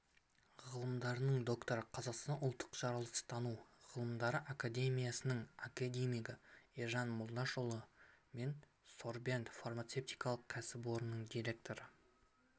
ғылымдарының докторы қазақстан ұлттық жаратылыстану ғылымдары академиясының академигі ержан молдашұлы мен сорбент фармацевтикалық кәсіпорнының директоры